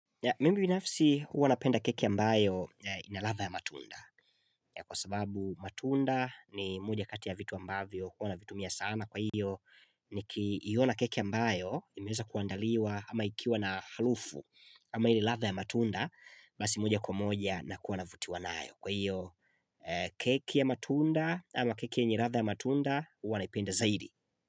Mimi binafsi huwa napenda keki ambayo ina ladha ya matunda. Kwa sababu matunda ni moja kati ya vitu ambavyo huwa navitumia sana kwa hiyo nikiiona keki ambayo imeweza kuandaliwa ama ikiwa na harufu ama ile ladha ya matunda basi moja kwa moja nakuwa navutiwa nayo. Kwa hiyo keki ya matunda ama keki yenye ladha ya matunda huwa naipenda zaidi.